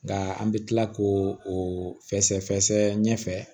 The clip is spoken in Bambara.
Nka an bɛ tila k'o o fɛsɛ fɛsɛ ɲɛfɛ